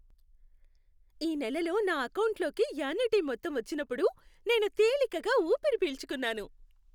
ఈ నెలలో నా ఎకౌంటులోకి యాన్యుటీ మొత్తం వచ్చినప్పుడు నేను తేలికగా ఊపిరి పీల్చుకున్నాను.